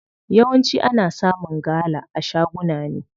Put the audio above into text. Yawanci ana samun gala a shaguna ne.